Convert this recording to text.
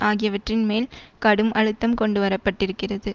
ஆகியவற்றின் மேல் கடும் அழுத்தம் கொண்டு வர பட்டிருக்கிறது